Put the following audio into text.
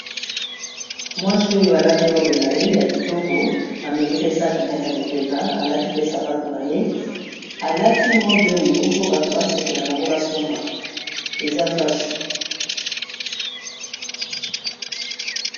Mwasi oyo alati robe na ye ya kitoko, amemi pe saki na ye na lipeka alati pe sapato na ye alati robe oyo mpo bato ba sepela nango ba somba eza fasho.